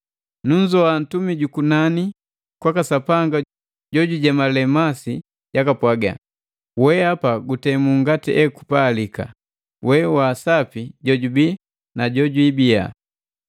Nunzoa ntumi jukunani kwaka Sapanga jojujemale masi jakapwaga, “Wehapa gutemu ngati ekupalika, we wa sapi jojubii na jojwiibiya!